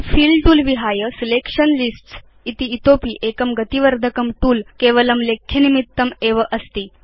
fill तूल विहाय selection lists इति उच्यमानम् इतोऽपि एकं गति वर्धकं तूल अस्ति यत् केवलं लेख्यनिमित्तमेव अस्ति